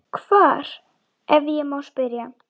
Hvar, ef ég má spyrja?